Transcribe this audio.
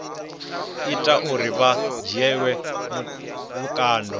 ita uri vha dzhielwe vhukando